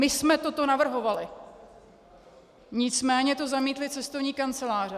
My jsme toto navrhovali, nicméně to zamítly cestovní kanceláře.